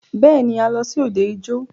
Bẹ́ẹ̀ni,a lọ sí òde ijó.